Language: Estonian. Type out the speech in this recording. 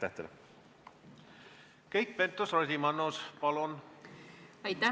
Keit Pentus-Rosimannus, palun!